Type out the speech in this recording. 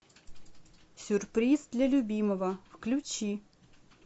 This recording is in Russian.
сюрприз для любимого включи